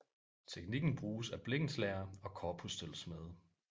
Teknikken bruges af blikkenslagere og korpussølvsmede